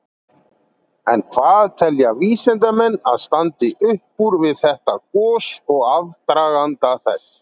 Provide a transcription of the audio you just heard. En hvað telja vísindamenn að standi upp úr við þetta gos og aðdraganda þess?